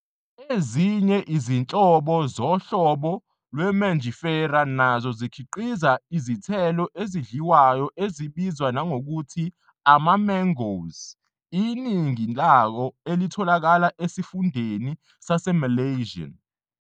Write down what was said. Ezinye izinhlobo zohlobo lwe-Mangifera nazo zikhiqiza izithelo ezidliwayo ezibizwa nangokuthi "ama-mangoes", iningi lawo elitholakala esifundeni saseMalesian.